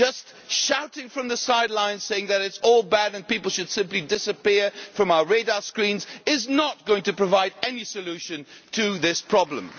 Just shouting from the sidelines, saying that it is all bad and people should simply disappear from our radar screens, is not going to provide any solution to this problem.